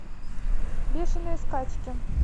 бешеные скачки